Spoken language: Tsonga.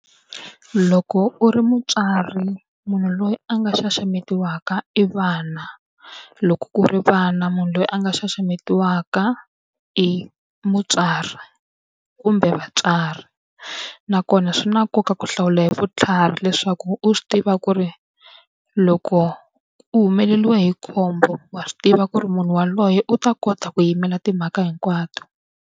Loko u ri mutswari munhu loyi a nga xaxametiwaka i vana, loko ku ri vana munhu loyi a nga xaxametiwaka i mutswari kumbe vatswari nakona swi na nkoka ku hlawula hi vutlhari leswaku u swi tiva ku ri loko u humeleriwe hi khombo, wa swi tiva ku ri munhu yaloye u ta kota ku yimela timhaka hinkwato.